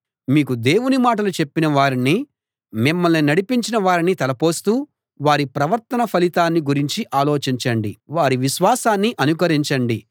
మీకు దేవుని మాటలు చెప్పిన వారిని మిమ్మల్ని నడిపించిన వారిని తలపోస్తూ వారి ప్రవర్తన ఫలితాన్ని గురించి ఆలోచించండి వారి విశ్వాసాన్ని అనుకరించండి